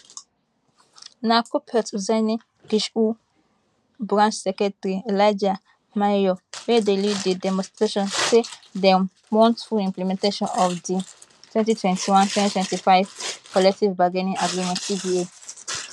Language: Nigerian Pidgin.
na kuppet zeni gishu branch secretary elijah maiyo wey dey lead di demonstration say dem want full implementation of di twenty twenty one twenty twenty five collective bargaining agreement cba